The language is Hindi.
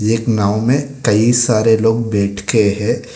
एक नाव में कई सारे लोग बैठ के है।